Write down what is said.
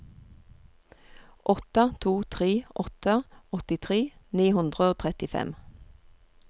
åtte to tre åtte åttitre ni hundre og trettifem